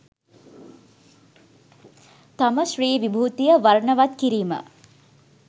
තම ශ්‍රී විභූතිය වර්ණවත් කිරීම